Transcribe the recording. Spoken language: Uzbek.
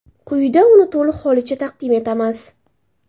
Quyida uni to‘liq holicha taqdim etamiz.